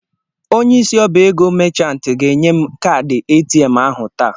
Onyeisi ọ́bà ego machant ga-enye m kaadị ATM ahụ taa.